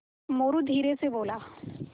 मोरू धीरे से बोला